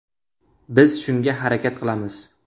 Biz shunga harakat qilamiz.